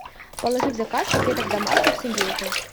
положи в заказ котлеток домашних с индейкой